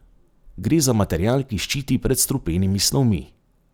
Gre za material, ki ščiti pred strupenimi snovmi.